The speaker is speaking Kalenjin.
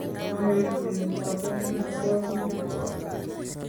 maeku neboto eng kabwotutik kwok